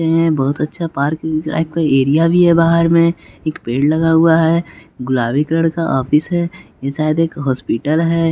बहुत अच्छा park life का एरिया भी है बाहर में एक पेड़ लगा हुआ है गुलाबी कलर का ऑफिस है ये शायद एक हॉस्पिटल है।